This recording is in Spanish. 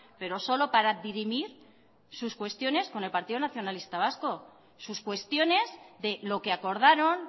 pero solo para dirimir sus cuestiones con el partido nacionalista vasco sus cuestiones de lo que acordaron